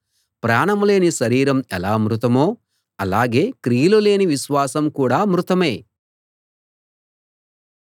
ప్రాణం లేని శరీరం ఎలా మృతమో అలాగే క్రియలు లేని విశ్వాసం కూడా మృతమే